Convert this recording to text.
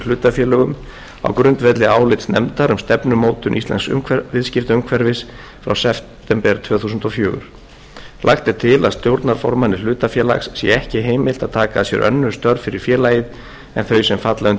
hlutafélögum á grundvelli álits nefndar um stefnumótun íslensks viðskiptaumhverfis frá september tvö þúsund og fjögur lagt er til að stjórnarformanni hlutafélags sé ekki heimilt að taka að sér önnur störf fyrir félagið en þau sem falla undir